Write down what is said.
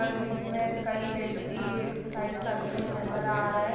और जिनमें कई व्यक्ति एक्सरसाईज करते हुए नजर आ रहे।